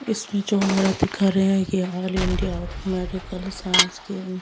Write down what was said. इसमें जो हमारा दिखा रहे है ये आल इंडिया मेडिकल साइंस के।